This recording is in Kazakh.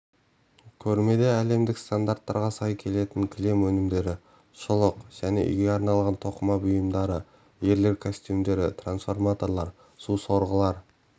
көрмедеәлемдік стандарттарға сайкелетін кілем өнімдері шұлық және үйге арналған тоқыма бұйымдары ерлер костюмдері трансформаторлар су сорғылары